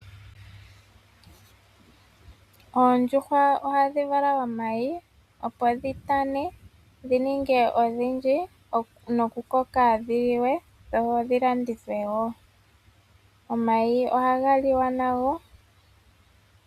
Oondjuhwa ohadhi vala omayi opo dhitane dhininge odhindji nokukoka dhiliwe dho dhilandithwe wo. Omayi ohaga liwa nago.